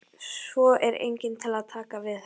Svo er enginn til að taka við henni.